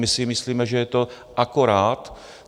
My si myslíme, že je to akorát.